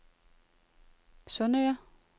Sundsøre